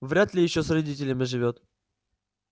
вряд ли ещё с родителями живёт